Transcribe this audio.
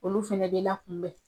Olu fɛnɛ bɛ lakunbɛn